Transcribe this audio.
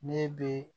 Ne be